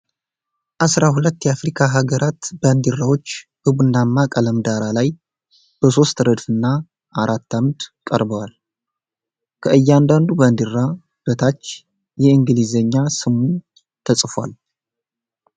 አሥራ ሁለት የአፍሪካ አገራት ባንዲራዎች በቡናማ ቀለም ዳራ ላይ በሦስት ረድፍና አራት ዓምድ ቀርበዋል። ከእያንዳንዱ ባንዲራ በታች የእንግሊዝኛ ስሙ ተጽፏል።